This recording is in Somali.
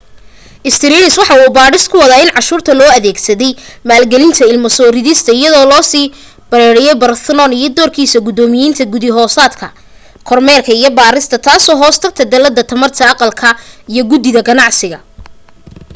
stearns waxa uu baadhis ku wadaa in cashuurta loo adeegsaday maalgelinta ilmo soo ridista iyadoo loo sii planned parenthood iyo doorkiisa guddoomiyenimo guddi hoosaadka kormeerka iyo baarista taasoo hoos tagta dallada tamarta aqalka iyo guddida ganacsiga